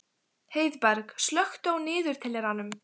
Heiðberg, slökktu á niðurteljaranum.